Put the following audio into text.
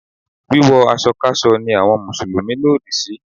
Wíwọ aṣọ káṣọ ni àwọn Mùsùlùmí lòdì sí.